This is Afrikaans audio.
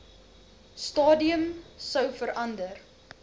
stadium sou verander